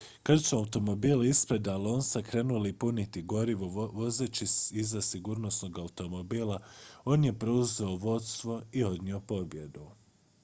kad su automobili ispred alonsa krenuli puniti gorivo vozeći iza sigurnosnog automobila on je preuzeo vodstvo i odnio pobjedu